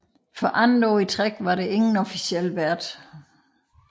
For andet år i træk var der ingen officiel vært